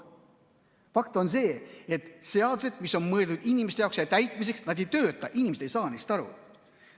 Fakt on see, et seadused, mis on mõeldud inimeste jaoks ja täitmiseks, ei tööta, inimesed ei saa neist aru.